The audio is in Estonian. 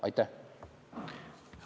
Aitäh!